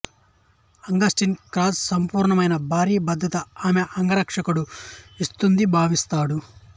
Augustine Cross అసంపూర్ణమైన భర్తీ బాధ్యత ఆమె అంగరక్షకుడు ఇస్తుంది భావిస్తాడు